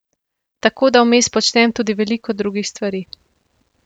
Tako da vmes počnem tudi veliko drugih stvari.